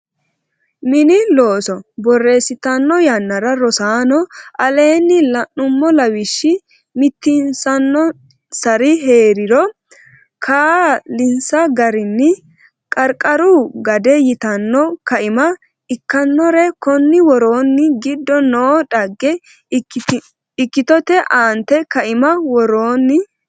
Mini Looso borreessitanno yannara Rosaanno aleeni la nummo lawishshi mitiinsannonsari hee riro kaa linsa garinni Qarqaru Gade yitanno Kaima ikkannore konni woroonni giddo noo dhagge ikkitote aante kaima worroonni.